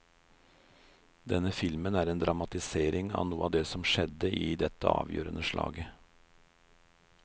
Denne filmen er en dramatisering av noe av det som skjedde i dette avgjørende slaget.